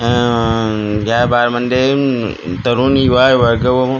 उम्म या बारमध्ये उम्म तरुण युवा वर्ग व--